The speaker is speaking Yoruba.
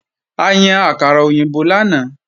A yan àkàrà òyìnbó lánàá